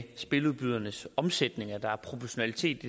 spiludbydernes omsætning at der er proportionalitet